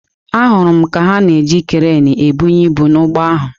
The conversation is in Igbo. Ahụrụ m ka ha na-eji kreenị ebunye ibu n’ụgbọ ahụ.